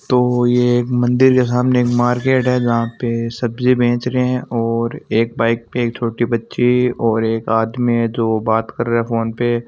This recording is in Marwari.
तो यह एक मंदिर के सामने मार्केट है जहां पे सब्जी बेच रहे हैं और एक बाइक पे छोटे बच्चे और एक आदमी है जो बात कर रहा है फोन पे--